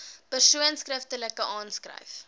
persoon skriftelik aanskryf